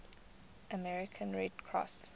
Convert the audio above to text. american red cross